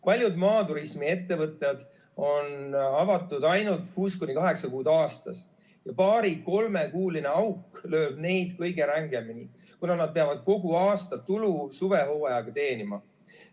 Paljud maaturismiettevõtted on avatud ainult kuus kuni kaheksa kuud aastas ja paari-kolmekuuline auk lööb neid kõige rängemini, kuna nad peavad kogu aastatulu suvehooajaga teenima.